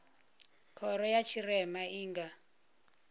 khoro ya tshirema i nga